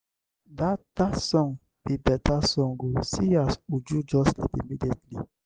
dat dat song be beta song oo see as uju just sleep immediately.